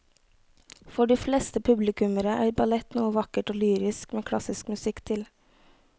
For de fleste publikummere er ballett noe vakkert og lyrisk med klassisk musikk til.